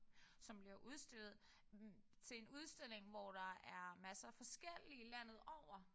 Som bliver udstillet til en udstilling hvor der er masser af forskellige landet over